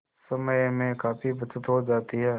समय में काफी बचत हो जाती है